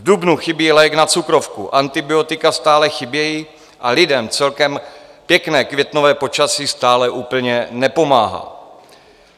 V dubnu chybí lék na cukrovku, antibiotika stále chybějí a lidem celkem pěkné květnové počasí stále úplně nepomáhá.